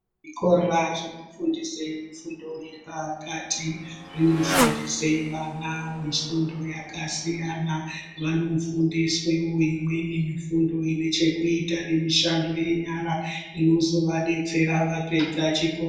Zvikora zvinofundise zvifundo zvepakati zvinofundise vana fundo yakasiyana. Vanofundiswewo imweni mifundo ine chekuita nemishando yenyara, inozovadetsera vapedza chikora.